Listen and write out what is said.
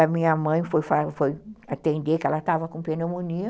A minha mãe foi atender, que ela estava com pneumonia.